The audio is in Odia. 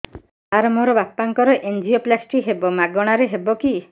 ସାର ମୋର ବାପାଙ୍କର ଏନଜିଓପ୍ଳାସଟି ହେବ ମାଗଣା ରେ ହେବ କି